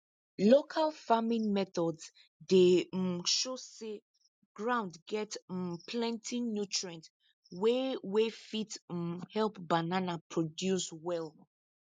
local farming methods dey um show say ground get um plenty nutrients wey wey fit um help banana produce well